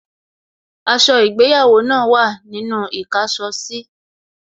Aṣọ ìgbéyàwó náà wà ní inú īkáso sí